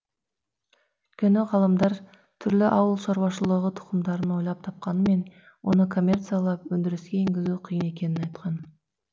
өйткені ғалымдар түрлі ауыл шаруашылығы тұқымдарын ойлап тапқанымен оны коммерциялап өндіріске енгізу қиын екенін айтқан